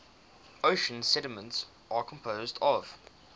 ocean sediments are composed of